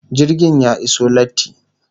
Jirgin ya iso latti